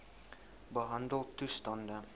behandeltoestande